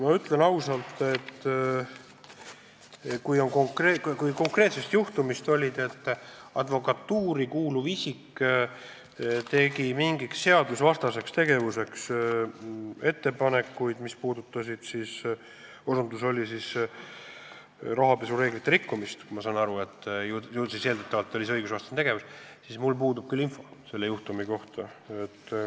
Ma ütlen ausalt, et kui sa pead silmas konkreetset juhtumit, et advokatuuri kuuluv isik tegi ettepaneku mingiks seadusvastaseks tegevuseks, mis seisnes ka rahapesuvastaste reeglite rikkumises – seega oli see eeldatavalt õigusvastane tegevus –, siis mul puudub info sellise juhtumi kohta.